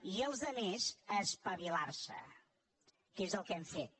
i els altres a espavilar se que és el que hem fet